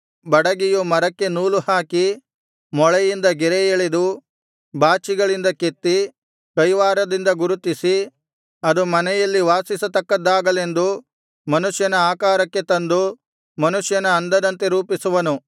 ಬಡಗಿಯು ಮರಕ್ಕೆ ನೂಲು ಹಾಕಿ ಮೊಳೆಯಿಂದ ಗೆರೆಯೆಳೆದು ಬಾಚಿಗಳಿಂದ ಕೆತ್ತಿ ಕೈವಾರದಿಂದ ಗುರುತಿಸಿ ಅದು ಮನೆಯಲ್ಲಿ ವಾಸಿಸತಕ್ಕದ್ದಾಗಲೆಂದು ಮನುಷ್ಯನ ಆಕಾರಕ್ಕೆ ತಂದು ಮನುಷ್ಯನ ಅಂದದಂತೆ ರೂಪಿಸುವನು